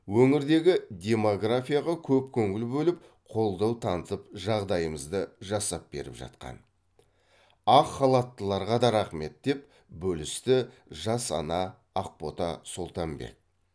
өңірдегі демографияға көп көңіл бөліп қолдау танытып жағдайымызды жасап беріп жатқан ақ халаттыларға да рахмет деп бөлісті жас ана ақбота солтанбек